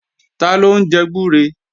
Taló ń jẹ gbúre?